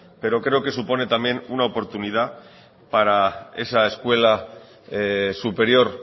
pero creo que supone también una oportunidad para esa escuela superior